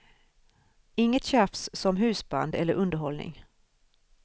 Inget tjafs som husband eller underhållning.